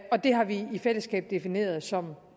og det har vi i fællesskab defineret som